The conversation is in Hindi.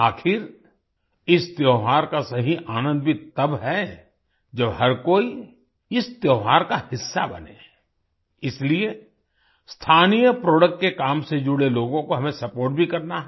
आखिर इस त्योहार का सही आनंद भी तब है जब हर कोई इस त्योहार का हिस्सा बने इसलिए स्थानीय प्रोडक्ट के काम से जुड़े लोगों को हमें सपोर्ट भी करना है